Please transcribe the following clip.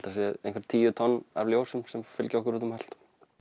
það séu einhver tíu tonn af ljósum sem fylgja okkur út um allt